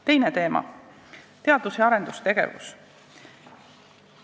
Teine teema: teadus- ja arendustegevus.